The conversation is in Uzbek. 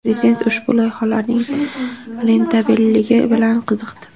Prezident ushbu loyihalarning rentabelligi bilan qiziqdi.